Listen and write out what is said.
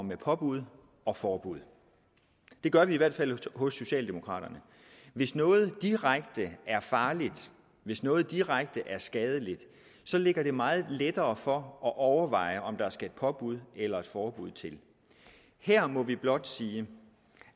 med påbud og forbud det gør vi i hvert fald hos socialdemokraterne hvis noget er direkte farligt hvis noget er direkte skadeligt ligger det meget lettere for at overveje om der skal et påbud eller et forbud til her må vi blot sige